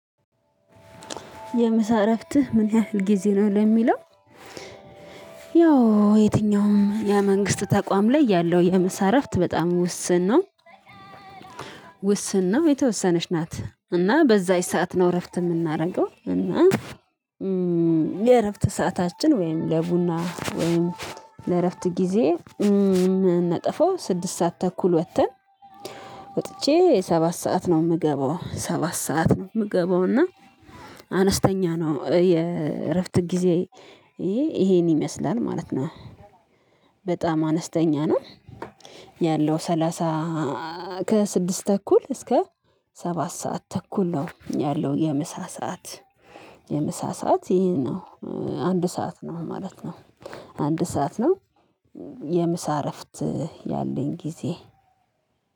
የምሳ እረፍትህ ምን ያህል ጊዜ ነው ለሚለው? ያው የትኛውም የመንግስት ተቋም ላይ ያለው የምሳ እረፍት በጣም ውስን ነው። ውስን ነው የተወሰነች ናት እና በዛች ሰዓት ነው እረፍት የምናደርገው እና። የእረፍት ሰዓታችን ወይም ለቡና ወይም ለእረፍት ጊዜ። ነጠፈው ስድስት ሰዓት ተኩል ወጥተን። ወጥቼ ሰባት ሰዓት ነው የምገባው ሰባት ሰዓት ነው የምገባው እና። አነስተኛ ነው የእረፍት ጊዜ ይሄን ይመስላል ማለት ነው። በጣም አነስተኛ ነው። ያለው ሰላሳ ከስድስት ተኩል እስከ ሰባት ሰዓት ተኩል ነው ያለው። የምሳ ሰዓት የምሳ ሰዓት ይሄ ነው። አንድ ሰዓት ነው ማለት ነው። አንድ ሰዓት ነው። የምሳ እረፍት ያለኝ ጊዜ